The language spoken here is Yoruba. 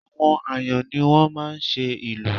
Àwọn Àyàn ni wọ́n máa ń ṣe ìlù